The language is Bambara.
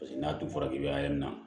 Paseke n'a dun fɔra k'i bɛ yɔrɔ min na